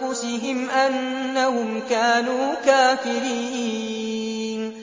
أَنفُسِهِمْ أَنَّهُمْ كَانُوا كَافِرِينَ